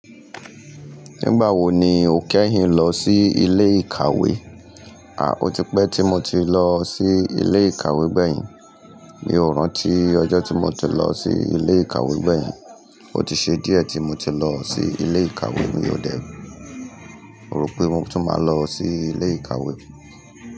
Nígbà wo ni o kẹ́hìn lọ sí ilé ìkàwé? A, ó ti pẹ́ tí mo ti lọ sí ilé ìkàwé gbẹ̀yìn. Mi ò rántí ọjọ́ tí mo ti lọ sí ilé ìkàwé gbẹ̀yìn. Ó ti ṣe díẹ̀ tí mo ti lọ sí ilé ìkàwé. Mi ò dẹ́, mo rò pé mo tún máa lọ sí ilé ìkàwé.